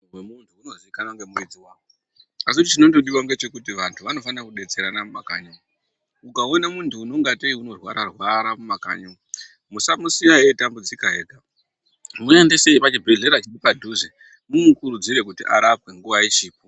Moyo wemuntu inozikanwa nemuridzi wake, asichinondodiwa ngechekuti vantu vanofanira kudetserana mumakanyi umo, ukaona muntu unongatei unorwara arwara mumakanyi umo musamusiya eitambudzika ega muendesei pachibhedhlera chiripadhuze mumukurudzire kuti arapwe nguwa ichipo.